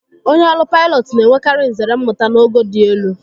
Onye ọrụ paịlọtụ na-enwekari nzere mmụta n'ogo dị elu.